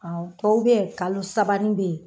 Awɔ tɔw beyi kalo sabanin beyi.